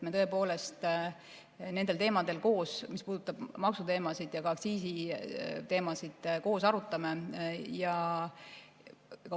Me tõepoolest nendel teemadel koos, mis puudutavad maksuteemasid ja ka aktsiisiteemasid, arutame.